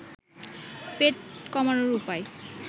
পেট কমানোর উপায়